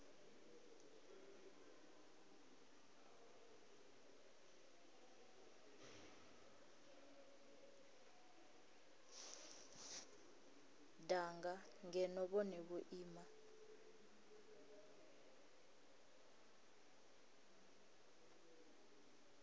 danga ngeno vhone vho ima